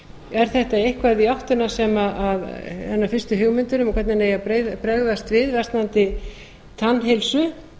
er þetta eitthvað í áttina hennar fyrstu hugmyndir um hvernig eigi að bregðast við landi tannheilsu